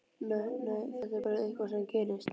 Nei, nei, þetta er bara eitthvað sem gerist.